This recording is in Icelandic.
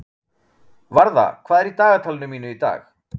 Varða, hvað er í dagatalinu mínu í dag?